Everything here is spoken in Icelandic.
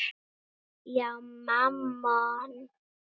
Já, Mammon krefst fórna.